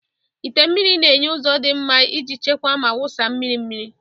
ite mmiri na-enye ụzọ dị mma iji chekwaa ma wụsa mmiri mmiri.